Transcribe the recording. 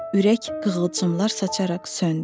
Ürək qığılcımlar saçaraq söndü.